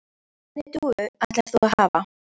Hvernig dúfu ætlar þú að hafa?